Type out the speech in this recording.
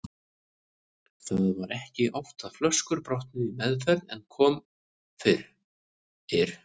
Það var ekki oft að flöskur brotnuðu í meðferð en kom fyrir.